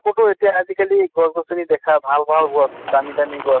কতো এতিয়া আজি কালি গছ গছ্নি দেখা ভাল ভাল গছ, দামি দামি গছ